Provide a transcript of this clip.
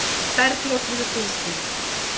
Bergljót hefur fylgst með.